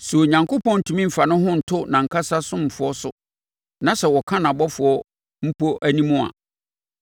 Sɛ Onyankopɔn ntumi mfa ne ho nto nʼankasa asomfoɔ so, na sɛ ɔka nʼabɔfoɔ mpo anim a,